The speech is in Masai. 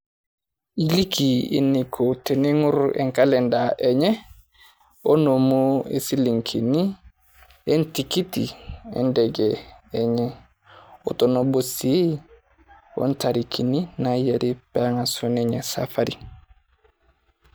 Elikii eneiko teneng'orr enkalendaa enye onomuu silingini e ntikitii endegei enye. Otonoboo sii otarikini nainyarii pee ang'asuu ninye saafari.